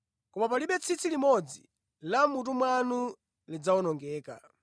Koma palibe tsitsi limodzi la mʼmutu mwanu lidzawonongeke.